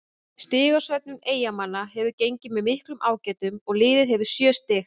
Stigasöfnun Eyjamanna hefur gengið með miklum ágætum og liðið hefur sjö stig.